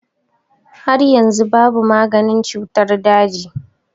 Har yanzu babu maganin cutar daji.